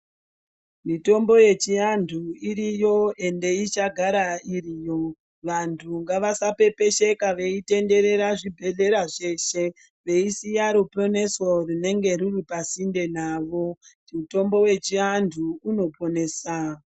Mitombo yechiantu iriyo ende ichagara iriyo. Vantu ngavasapepesheka veitenderera zvibhedhlera zveshe veisiya ruponeso runenge ruri pasinde navo, Mutombo wechiantu unoponesa.